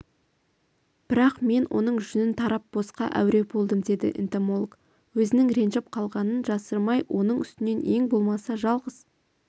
бірақ мен оның жүнін тарап босқа әуре болдым деді энтомолог өзінің ренжіп қалғанын жасырмайоның үстінен ең болмаса жалғыз